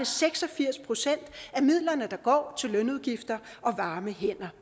seks og firs procent af midlerne der går til lønudgifter og varme hænder